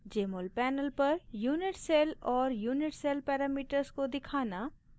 jmol panel पर unit cell और unit cell parameters को दिखाना